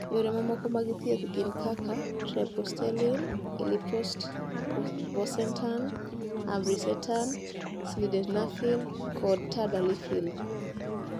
Yore mamoko mag thieth, gin kaka treprostinil, iloprost, bosentan, ambrisentan, sildenafil, kod tadalafil.